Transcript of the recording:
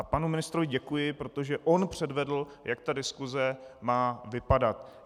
A panu ministrovi děkuji, protože on předvedl, jak ta diskuse má vypadat.